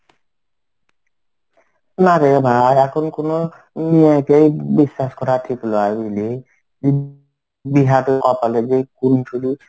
না রে ভাই এখন কোনো বিশ্বাস করা ঠিক নয় বুঝলি.